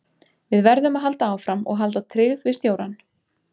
Við verðum að halda áfram og halda tryggð við stjórann.